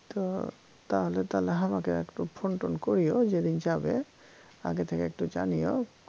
তো তাহলে তালে হামাকে একটু phone টোন কইর যেদিন যাবে আগে থেকে একটু জানিয়ো